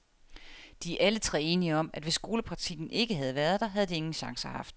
De er alle tre enige om, at hvis skolepraktikken ikke havde været der, havde de ingen chancer haft.